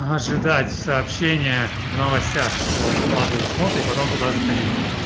ожидать сообщение в новостях что выкладывают смотри потом туда заходить